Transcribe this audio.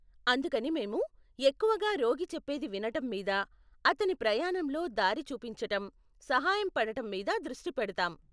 అందుకని మేము ఎక్కువగా రోగి చెప్పేది వినటం మీద, అతని ప్రయాణంలో దారి చూపించటం, సహాయం పడటం మీద దృష్టి పెడతాం.